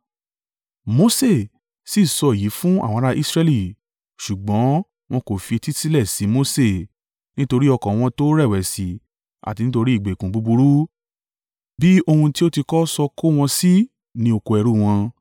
Mose sì sọ èyí fún àwọn ará Israẹli, ṣùgbọ́n wọn kò fi etí sílẹ̀ sí Mose nítorí ọkàn wọn tó rẹ̀wẹ̀sì àti nítorí ìgbèkùn búburú bí ohun tí ó ti kọ́ sọ kó wọn sí ní oko ẹrú wọn.